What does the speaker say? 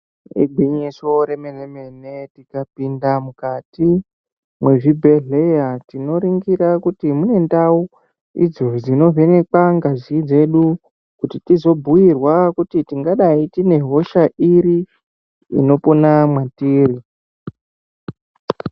Igwinyiso remenemene tikapinda mukati mwezvibhehleya tinoringira kuti mune ndau idzo dzinovheneka ngazi dzedu kutitizombirwa kuti tingadai tinehosha iri inopona mwatiri.